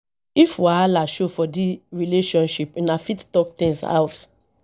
if wahala show for di relationship una fit talk things out